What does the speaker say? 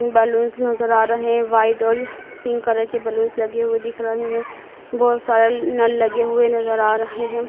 Balloons नज़र आ रहे है व्हाईट और पिंक कलर के बलूंस लगे हुए दिख रहे हैं बहोत सारे नल लगे हुए नज़र आ रहे हैं।